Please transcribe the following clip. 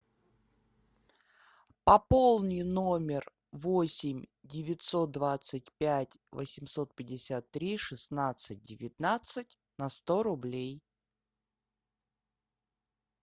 пополни номер восемь девятьсот двадцать пять восемьсот пятьдесят три шестнадцать девятнадцать на сто рублей